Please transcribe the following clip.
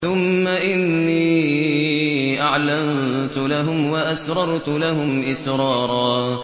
ثُمَّ إِنِّي أَعْلَنتُ لَهُمْ وَأَسْرَرْتُ لَهُمْ إِسْرَارًا